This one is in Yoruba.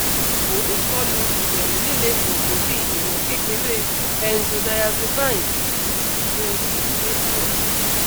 fun ikolu iberu lile oogun bi iwon kekere benzodiazepines le se lo